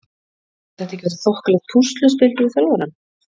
Hefur þetta ekki verið þokkalegt púsluspil fyrir þjálfarann?